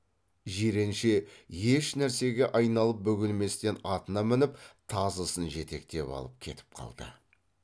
жиренше ешнәрсеге айналып бөгелместен атына мініп тазысын жетектеп алып кетіп қалды